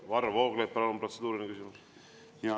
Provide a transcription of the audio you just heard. Varro Vooglaid, palun, protseduuriline küsimus!